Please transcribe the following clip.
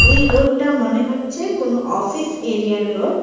এই রোড -টা মনে হচ্ছে কোন অফিস এরিয়া -র রোড ।